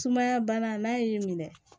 Sumaya bana n'a y'i minɛ